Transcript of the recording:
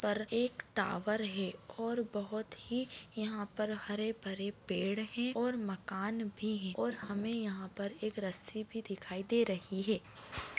पर एक टॉवर है और बहुत ही यहाँ पर हरे-भरे पेड़ हैं और मकान भी है और हमें यहाँ पर एक रस्सी भी दिखाई दे रही है